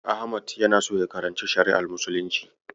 Ahmad yana so ya karanci Shari'ar Muslunci.